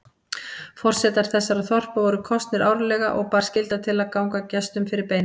Forsetar þessara þorpa voru kosnir árlega og bar skylda til að ganga gestum fyrir beina.